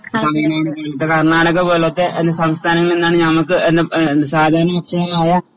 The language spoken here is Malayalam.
ഇപ്പൊ കർണാടക പോലത്തെ അന്യസംസ്ഥാനങ്ങളിൽ നിന്നാണ് ഞമ്മക്ക് ഏഹ് എന്ത് സാധാരണ ഭക്ഷണമായ